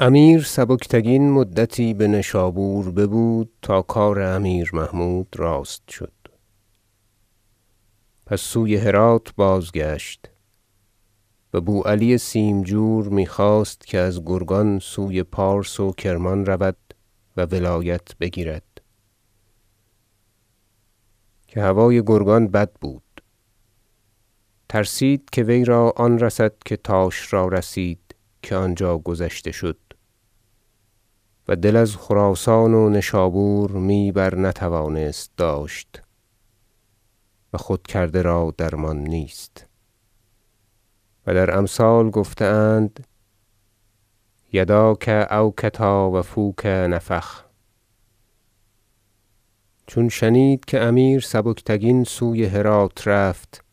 بقیة قصة التبانیه امیر سبکتگین مدتی به نشابور ببود تا کار امیر محمود راست شد پس سوی هرات بازگشت و بو علی سیمجور می خواست که از گرگان سوی پارس و کرمان رود و ولایت بگیرد که هوای گرگان بد بود ترسید که وی را آن رسد که تاش را رسید که آنجا گذشته شد و دل از خراسان و نشابور می برنتوانست داشت و خود کرده را درمان نیست و در امثال گفته اند یداک او کتاوفوک نفخ چون شنید که امیر سبکتگین سوی هرات رفت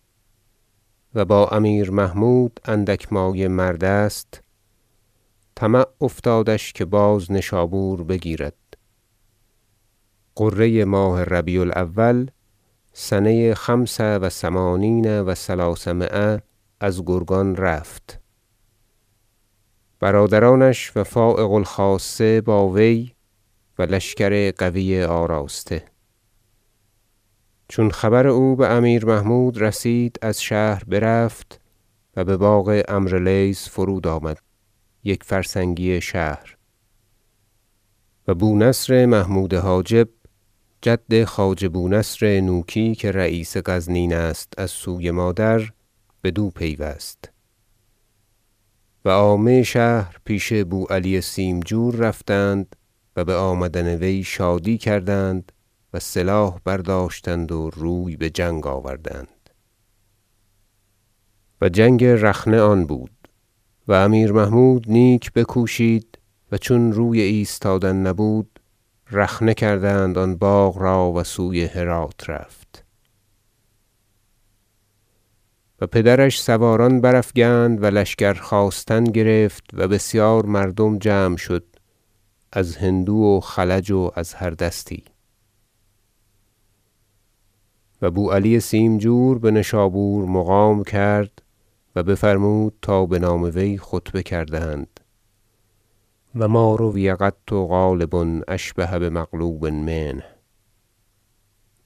و با امیر محمود اندک مایه مرد است طمع افتادش که باز نشابور بگیرد غره ماه ربیع الاول سنه خمس و ثمانین و ثلثمایه از گرگان رفت برادرانش و فایق الخاصه با وی و لشکر قوی آراسته چون خبر او به امیر محمود رسید از شهر برفت و به باغ عمرو لیث فرود آمد یک فرسنگی شهر و بو نصر محمود حاجب- جد خواجه بو نصر نوکی که رییس غزنین است از سوی مادر- بدو پیوست و عامه شهر پیش بو علی سیمجور رفتند و به آمدن وی شادی کردند و سلاح برداشتند و روی به جنگ آوردند و جنگ رخنه آن بود و امیر محمود نیک بکوشید و چون روی ایستادن نبود رخنه کردند آن باغ را و سوی هرات رفت و پدرش سواران برافگند و لشکر خواستن گرفت و بسیار مردم جمع شد از هندو و خلج و از هر دستی و بو علی سیمجور بنشابور مقام کرد و بفرمود تا بنام وی خطبه کردند و ما رؤی قط غالب اشبه بمغلوب منه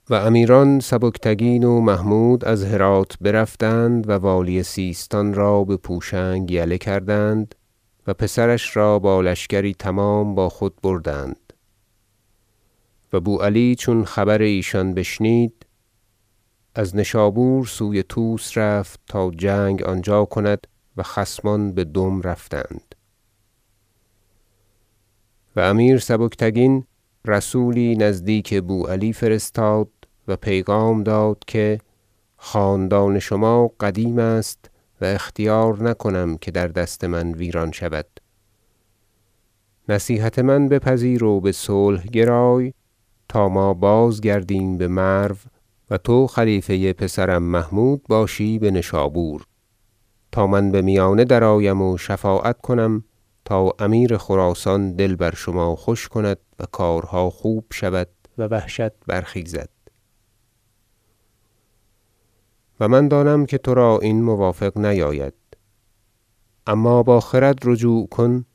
و امیران سبکتگین و محمود از هرات برفتند و والی سیستان را به پوشنگ یله کردند و پسرش را با لشکری تمام با خود بردند و بو علی چون خبر ایشان بشنید از نشابور سوی طوس رفت تا جنگ آنجا کند و خصمان بدم رفتند و امیر سبکتگین رسولی نزدیک بو علی فرستاد و پیغام داد که خاندان شما قدیم است و اختیار نکنم که در دست من ویران شود نصیحت من بپذیر و به صلح گرای تا ما بازگردیم به مرو و تو خلیفه پسرم محمودباشی به نشابور تا من به میانه درآیم و شفاعت کنم تا امیر خراسان دل بر شما خوش کند و کارها خوب شود و وحشت برخیزد و من دانم که ترا این موافق نیاید اما با خرد رجوع کن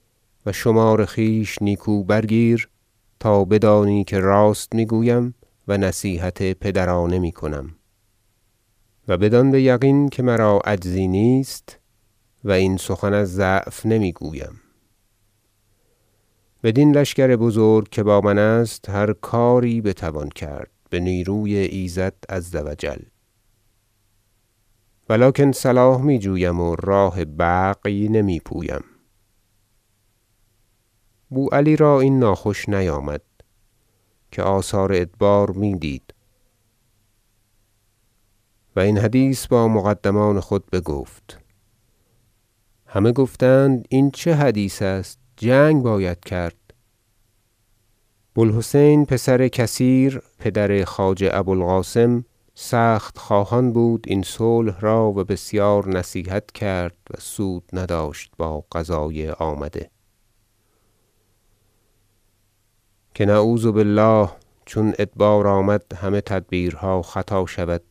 و شمار خویش نیکو برگیر تا بدانی که راست می گویم و نصیحت پدرانه می کنم و بدان بیقین که مرا عجزی نیست و این سخن از ضعف نمی گویم بدین لشکر بزرگ که با من است هر کاری بتوان کرد به نیروی ایزد عزوجل و لکن صلاح می جویم و راه بغی نمی پویم بو علی را این ناخوش نیامد که آثار ادبار می دید و این حدیث با مقدمان خود بگفت همه گفتند این چه حدیث است جنگ باید کرد بو الحسین پسر کثیر پدر خواجه ابو القاسم سخت خواهان بود این صلح را و بسیار نصیحت کرد و سود نداشت با قضای آمده که نعوذ بالله چون ادبار آمد همه تدبیرها خطا شود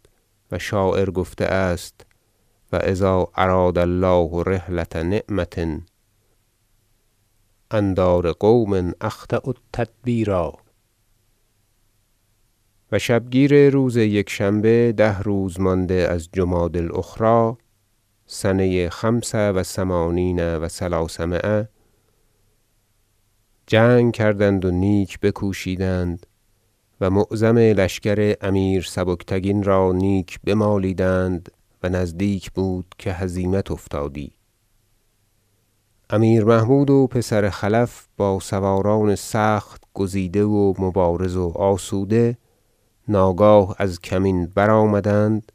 و شاعر گفته است شعر و اذا اراد الله رحلة نعمة عن دار قوم اخطأوا التدبیرا و شبگیر روز یکشنبه ده روز مانده از جمادی الاخری سنه خمس و ثمانین و ثلثمایه جنگ کردند و نیک بکوشیدند و معظم لشکر امیر سبکتگین را نیک بمالیدند و نزدیک بود که هزیمت افتادی امیر محمود و پسر خلف با سواران سخت گزیده و مبارز و آسوده ناگاه از کمین برآمدند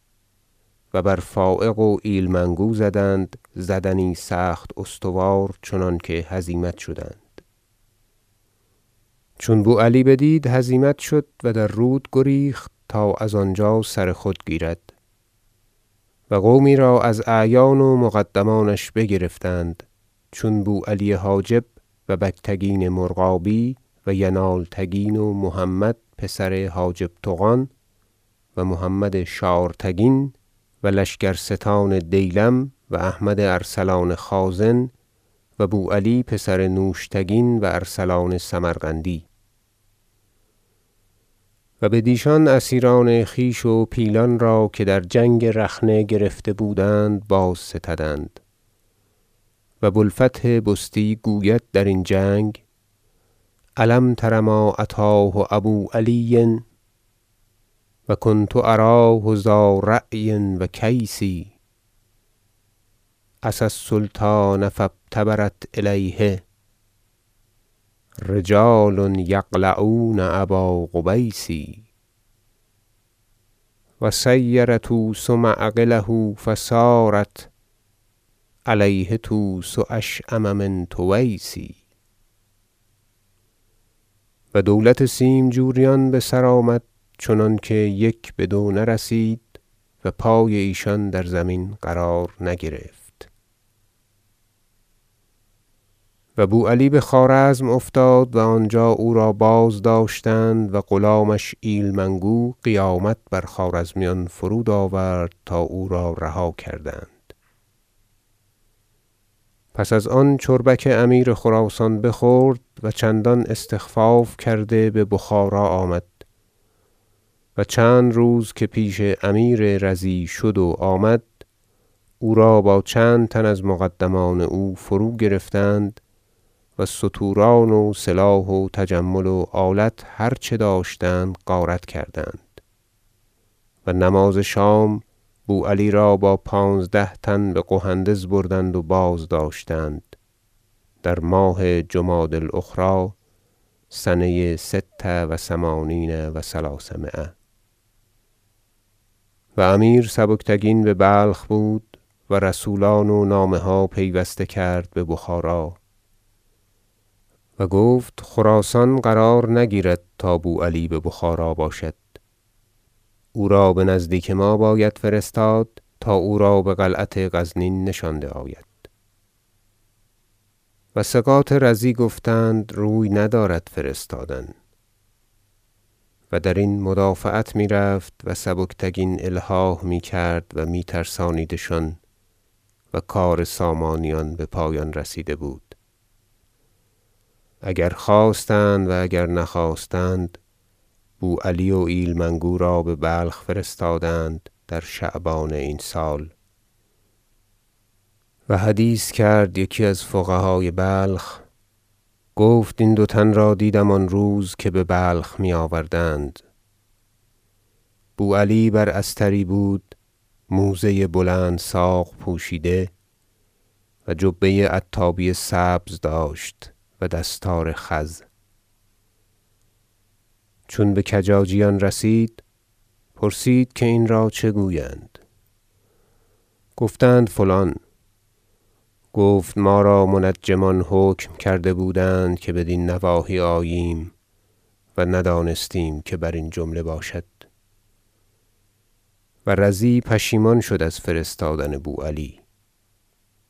و بر فایق و ایلمنگو زدند زدنی سخت استوار چنانکه هزیمت شدند چون بو علی بدید هزیمت شد و در رود گریخت تا از آنجا سر خود گیرد و قومی را از اعیان و مقدمانش بگرفتند چون بو علی حاجب و بگتگین مرغابی و ینالتگین و محمد پسر حاجب طغان و محمد شارتگین و لشکرستان دیلم و احمد ارسلان خازن و بو علی پسر نوشتگین و ارسلان سمرقندی و بدیشان اسیران خویش و پیلان را که در جنگ رخنه گرفته بودند بازستدند و بو الفتح بستی گوید درین جنگ شعر الم تر ما اتاه ابو علی و کنت اراه ذا رأی و کیس عصی السلطان فابتدرت الیه رجال یقلعون ابا قبیس و صیر طوس معقله فصارت علیه طوس اشأم من طویس و دولت سیمجوریان بسر آمد چنانکه یک بدو نرسید و پای ایشان در زمین قرار نگرفت و بو علی به خوارزم افتاد و آنجا او را بازداشتند و غلامش ایلمنگو قیامت بر خوارزمیان فرود آورد تا او را رها کردند سپس از آن چربک امیر خراسان بخورد و چندان استخفاف کرده به بخارا آمد و چند روز که پیش امیر رضی شد و آمد او را با چند تن از مقدمان او فروگرفتند و ستوران و سلاح و تجمل و آلت هرچه داشتند غارت کردند و نماز شام بو علی را با پانزده تن به قهندز بردند و بازداشتند در ماه جمادی الاخری سنه ست و ثمانین و ثلثمایه و امیر سبکتگین به بلخ بود و رسولان و نامه ها پیوسته کرد به بخارا و گفت خراسان قرار نگیرد تا بو علی به بخارا باشد او را بنزدیک ما باید فرستاد تا او را به قلعت غزنین نشانده آید و ثقات رضی گفتند روی ندارد فرستادن و درین مدافعت می رفت و سبکتگین الحاح می کرد و می ترسانیدشان و کار سامانیان به پایان رسیده بود اگر خواستند و اگر نخواستند بو علی و ایلمنگو را به بلخ فرستادند در شعبان این سال و حدیث کرد یکی از فقهای بلخ گفت این دو تن را دیدم آن روز که به بلخ می آوردند بو علی بر استری بود موزه بلند ساق پوشیده و جبه عتابی سبز داشت و دستار خز چون به کجاجیان رسید پرسید که این را چه گویند گفتند فلان گفت ما را منجمان حکم کرده بودند که بدین نواحی آییم و ندانستیم که برین جمله باشد و رضی پشیمان شد از فرستادن بو علی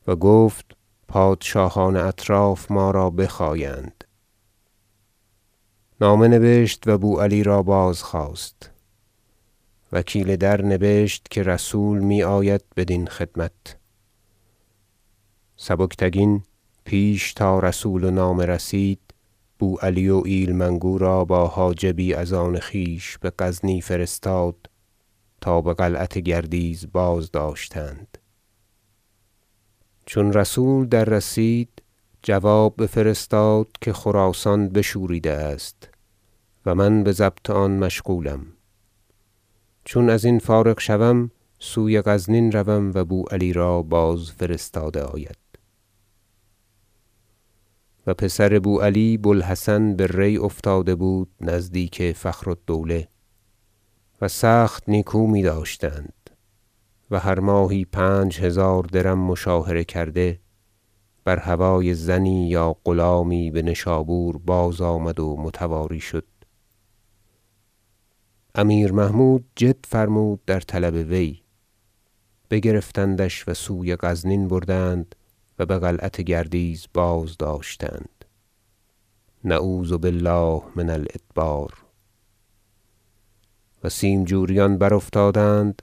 و گفت پادشاهان اطراف ما را بخایند نامه نبشت و بو علی را بازخواست وکیل در نبشت که رسول می آید بدین خدمت سبکتگین پیش تا رسول و نامه رسید بو علی و ایلمنگو را با حاجبی از آن خویش به غزنی فرستاد تا به قلعت گردیز بازداشتند چون رسول دررسید جواب بفرستاد که خراسان بشوریده است و من به ضبط آن مشغولم چون ازین فارغ شوم سوی غزنین روم و بو علی را بازفرستاده آید و پسر بو علی بو الحسن به ری افتاده بود نزدیک فخر الدوله و سخت نیکو می داشتند و هر ماهی پنج هزار درم مشاهره کرد بر هوای زنی یا غلامی به نشابور بازآمد و متواری شد امیر محمود جد فرمود در طلب وی بگرفتندش و سوی غزنین بردند و به قلعت گردیز بازداشتند نعوذ بالله من الادبار و سیمجوریان بر- افتادند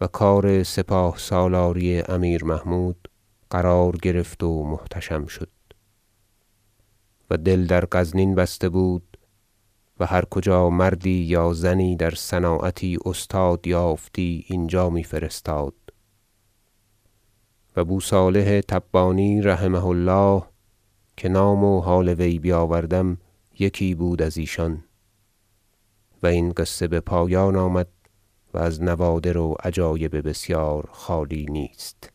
و کار سپاه سالاری امیر محمود قرار گرفت و محتشم شد و دل در غزنین بسته بود و هر کجا مردی یا زنی در صناعتی استاد یافتی اینجا می فرستاد بو صالح تبانی رحمه الله که نام و حال وی بیاوردم یکی بود از ایشان و این قصه به پایان آمد و از نوادر و عجایب بسیار خالی نیست